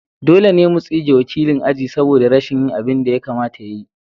Dole ne mu tsige wakilin aji saboda rashin yin abin da ya kamata ya yi.